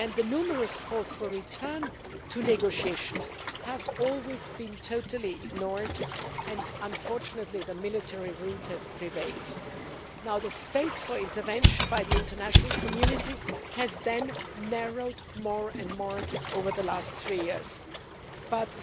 Numerous calls for a return to negotiations have always been totally ignored and unfortunately, the military route has prevailed. The scope for intervention by the international community has narrowed more and more over the last three years,